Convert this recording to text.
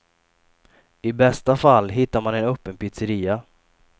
I bästa fall hittar man en öppen pizzeria.